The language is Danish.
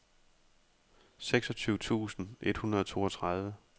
seksogtyve tusind et hundrede og toogtredive